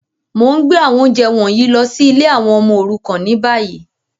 Mo n gbé àwọn ounjẹ wọ̀nyí lọ si ìlé àwon ọmọ òrukàn ni bayi.